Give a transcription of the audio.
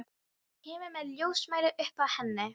Kemur með ljósmæli upp að henni.